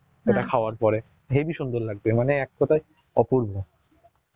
ইটা পের হেবি সুন্দর লাগবে, মানে এক কথায় অপূর্ব